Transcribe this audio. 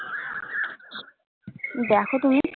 দেখো তুমি?